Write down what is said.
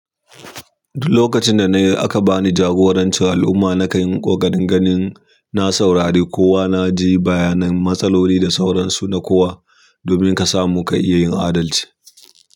Lokacin da na yi aka ba ni jagoranci al'umma na kan yi ƙoƙarin ganin na saurari kowa na ji bayanan matsaloli da sauransu na kowa domin ka samu ka iya yin adalci.